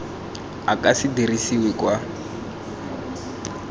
o ka se dirisiwe kwa